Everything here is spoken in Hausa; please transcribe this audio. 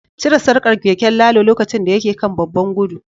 Cire sarkar keken Lalo lokacin da yake kan babban gudu